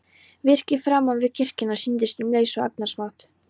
Virkið framan við kirkjuna sýndist um leið svo agnarsmátt.